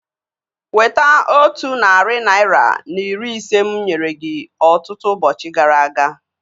Weta otu narị naira na iri ise mụ nyere gị ọtụtụ ụbọchị gara aga